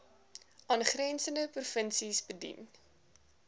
aangrensende provinsies bedien